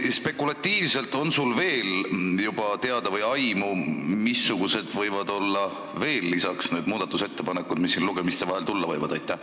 Kas sul on teada või aimu, missugused võivad olla teised muudatusettepanekud, mis kahe lugemise vahel tulla võivad?